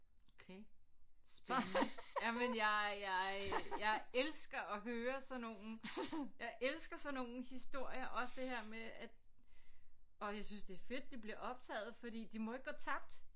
Okay spændende jamen jeg jeg jeg elsker at høre sådan nogle jeg elsker sådan nogle historier også det her med at og jeg synes det er fedt det bliver optaget fordi de må ikke gå tabt